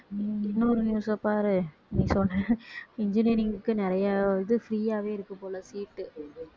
உம் இன்னொரு news அ பாரு நீ சொன்ன engineering க்கு நிறைய இது free யாவே இருக்கு போல seat உ